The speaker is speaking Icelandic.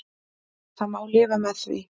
Það má lifa með því.